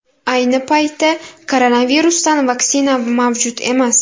Ayni paytda koronavirusdan vaksina mavjud emas.